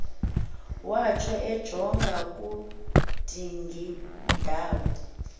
watsho ejonga kudingindawo